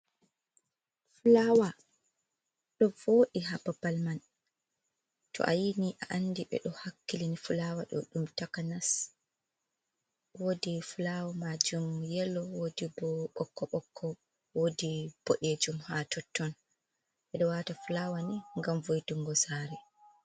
Fulawa ɗo vodi ha babal man to a yini a andi ɓeɗo hakkilini fulawa ɗo ɗum takanas wodi fulawa majum yelo wodi bo bokko bokko wodi boɗejum ha totton, bedo wata fulawa ni gam voitungo sare.